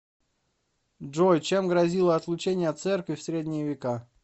джой чем грозило отлучение от церкви в средние века